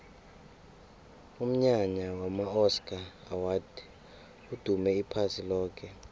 umnyanya wama oscar awards udume iphasi loke